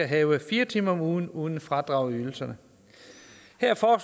have fire timer om ugen uden fradrag i ydelserne